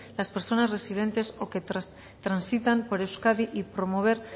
las personas residentes o que transitan por euskadi y promover